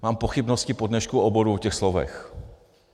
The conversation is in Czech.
Mám pochybnosti po dnešku o obou těch slovech.